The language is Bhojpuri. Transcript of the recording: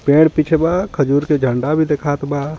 पेड़ पीछे बा खजूर के झंडा भी दिखात बा.